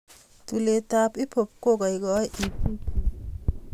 tulet ap hiphop kokaikaii itik chuu